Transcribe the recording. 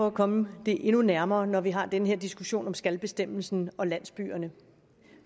at komme det endnu nærmere når vi har den her diskussion om skal bestemmelsen og landsbyerne